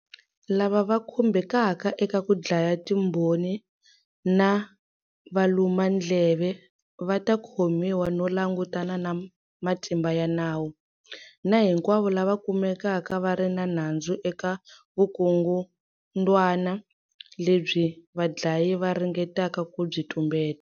Lava va khumbekaka eka ku dlaya timbhoni na valumandleve va ta khomiwa no langutana na matimba ya nawu, na hinkwavo lava kumekaka va ri na nandzu eka vukungundwana lebyi vadlayi va ringetaka ku byi tumbeta.